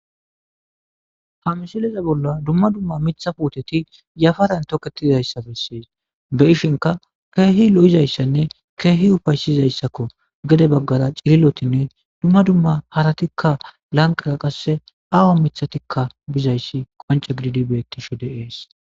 ha misileza bolla dumma dumma mitha puoteti yafaran tokketizayssa bessis be ishinka keehi lo7izayssanne keehi ufaysizayssakko gede baggara cililotinne dumma dumma haratikka lanqara qasse awa mithatikka bizayssi qonce gididi bettishe de'ees